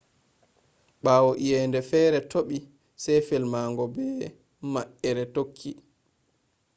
bawo eyende fere topi se felmango be ma’ehre tokki